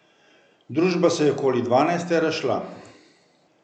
Družba se je okoli dvanajste razšla.